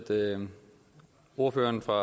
ordføreren for